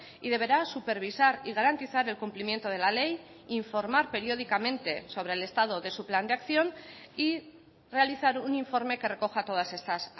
y deberá supervisar y garantizar el cumplimiento de la ley informar periódicamente sobre el estado de su plan de acción y realizar un informe que recoja todas estas